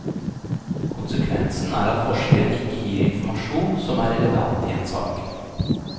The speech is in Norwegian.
Konsekvensen er at forskeren ikke gir informasjon som er relevant i en sak.